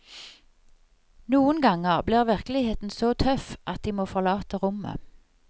Noen ganger blir virkeligheten så tøff at de må forlate rommet.